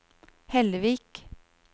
Hellevik